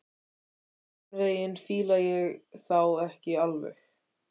Einhvern veginn fíla ég þá ekki alveg.